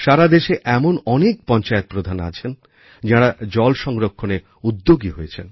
সারা দেশে এমন অনেক পঞ্চায়েতপ্রধান আছেন যাঁরা জল সংরক্ষণে উদ্যোগী হয়েছেন